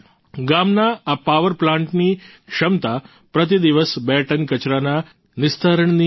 ગામના આ પાવર પ્લાન્ટની ક્ષમતા પ્રતિદિવસ બે ટન કચરાના નિસ્તારણની છે